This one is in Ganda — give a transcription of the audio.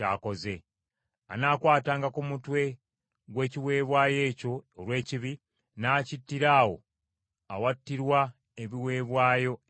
Anaakwatanga ku mutwe gw’ekiweebwayo ekyo olw’ekibi, n’akittira awo awattirwa ebiweebwayo ebyokebwa.